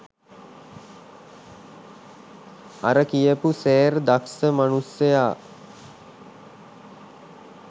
අර කියපු "සෑර්" දස්ස මනුස්සයා